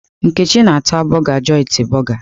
Nkechi ná-ata borgà joiti borgà